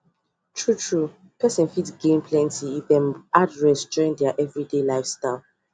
true true person fit gain if dem am join there everyday live style